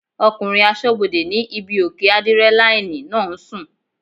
Ọkùnrin asọ́bodè ní ibí òkè ádírẹ́láínì náà ń sùn